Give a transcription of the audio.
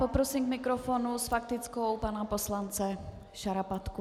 Prosím k mikrofonu s faktickou pana poslance Šarapatku.